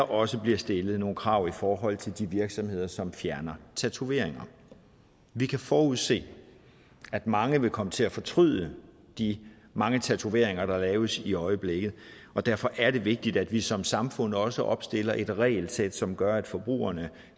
også bliver stillet nogle krav i forhold til de virksomheder som fjerner tatoveringer vi kan forudse at mange vil komme til at fortryde de mange tatoveringer der laves i øjeblikket og derfor er det vigtigt at vi som samfund også opstiller et regelsæt som gør at forbrugerne